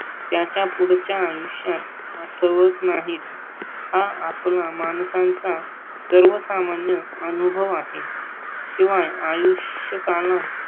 त्याच्या पुढच्या आयुष्यात आठवत नाहीत हा आपला माणसांचा सर्वसामान्य अनुभव आहे. शिवाय आयुष्य काढणं